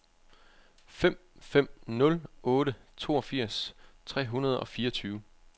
fem fem nul otte toogfirs tre hundrede og fireogtyve